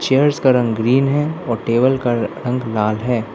Chairs का रंग green है और टेबल का र रंग लाल है।